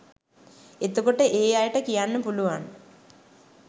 එතකොට ඒ අයට කියන්න පුළුවන්